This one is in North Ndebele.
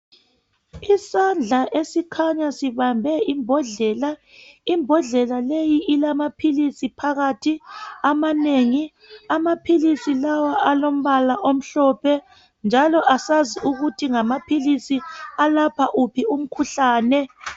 Isandla esikhanya sibambe imbodlela, imbodlela leyi ilamaphilisi phakathi amanengi. Amaphilisi lawa alombala omhlophe, njalo asazi ukuthi ngamaphilisi alapha wuphi umkhuhlane.